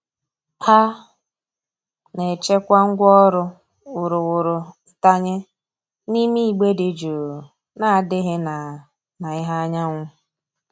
A na-echekwa ngwaọrụ wuruwuru ntanye n'ime igbe dị jụụ na-adịghị na na ìhè anyanwụ.